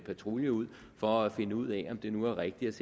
patrulje ud for at finde ud af om det nu er rigtigt